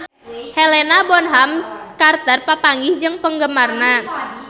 Helena Bonham Carter papanggih jeung penggemarna